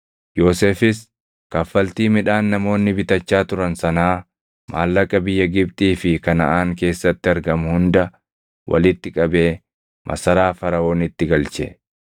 Yoosefis kaffaltii midhaan namoonni bitachaa turan sanaa maallaqa biyya Gibxii fi Kanaʼaan keessatti argamu hunda walitti qabee masaraa Faraʼoonitti galche.